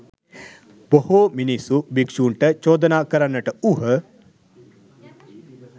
බොහෝ මිනිස්සු භික්ෂූන්ට චෝදනා කරන්නට වූහ.